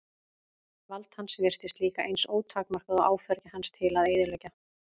Vald hans virtist líka eins ótakmarkað og áfergja hans til að eyðileggja.